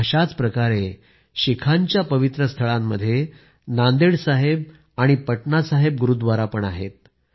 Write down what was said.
अशाच प्रकारे शिखांच्या पवित्र स्थळात नांदेड साहेब गुरुद्वारा पण आहे आणि पटना साहेब गुरुद्वारा पण आहे